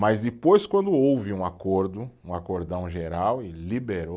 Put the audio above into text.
Mas depois, quando houve um acordo, um acordão geral e liberou